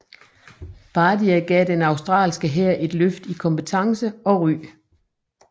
Bardia gav den australske hær et løft i kompetence og ry